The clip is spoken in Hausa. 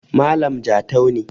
Malam jatau ne